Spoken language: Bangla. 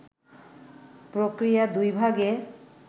প্রক্রিয়া দুই ভাগে